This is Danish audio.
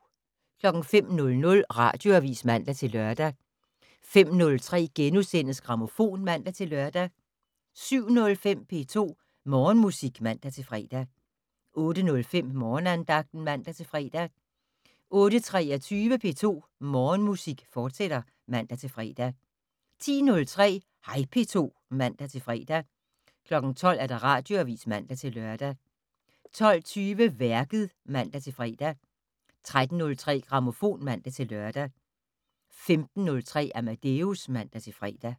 05:00: Radioavis (man-lør) 05:03: Grammofon *(man-lør) 07:05: P2 Morgenmusik (man-fre) 08:05: Morgenandagten (man-fre) 08:23: P2 Morgenmusik, fortsat (man-fre) 10:03: Hej P2 (man-fre) 12:00: Radioavis (man-lør) 12:20: Værket (man-fre) 13:03: Grammofon (man-lør) 15:03: Amadeus (man-fre)